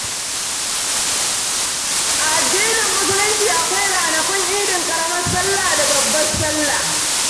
A addinin Musulunci akwai ranakun idin ƙaramar salla da babbar salla.